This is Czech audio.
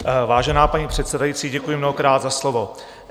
Vážená paní předsedající, děkuji mnohokrát za slovo.